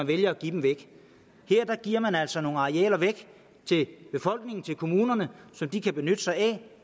vælger at give dem væk her giver man altså nogle arealer væk til befolkningen til kommunerne som de kan benytte sig af